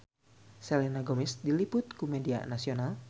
Selena Gomez diliput ku media nasional